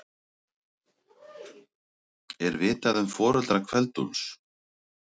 Er vitað um foreldra Kveld-Úlfs?